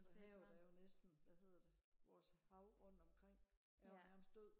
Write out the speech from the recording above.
havet er jo næsten hvad hedder det vores havbund omkring er jo nærmest død